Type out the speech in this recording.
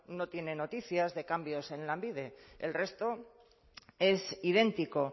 no tiene noticias de cambios en lanbide el resto es idéntico